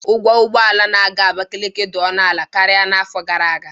Ụgwọ ụgbọ ala na-aga Abakiliki dị ọnụ ala karịa n'afọ gara aga